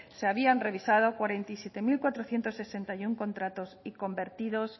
se habían revisado cuarenta y siete mil cuatrocientos sesenta y uno contratos y convertidos